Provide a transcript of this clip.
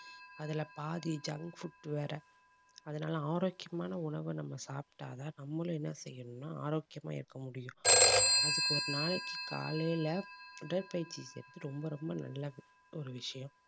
அதுல பாதி junk food வேற அதனால ஆரோக்கியமான உணவை, நம்ம சாப்பிட்டாதான் நம்மளும் என்ன செய்யணும்ன்னா ஆரோக்கியமா இருக்க முடியும். அதுக்கு ஒரு நாளைக்கு காலையில உடற்பயிற்சி செய்றது ரொம்ப ரொம்ப நல்ல ஒரு விஷயம்